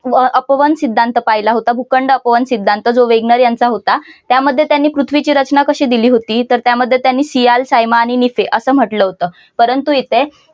अपवन सिद्धांत पाहिला होता भूखंड अपवन सिद्धांत जो वेगनर यांचा होता त्यामध्ये त्यानी पृथ्वीची रचना कशी दिली होती तर त्यामध्ये त्याने सियाल सायमा आणि निके हे असं म्हटलं होतं. परंतु इथे